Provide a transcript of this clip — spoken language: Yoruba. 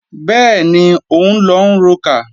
Bẹ́ẹ̀ni, òun lọ ń rokà